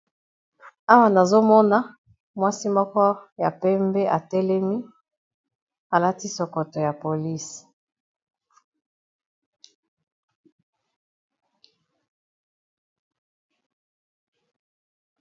Awa nazomona mwasi moko ya pembe atelemi, alati sokoto ya polisi.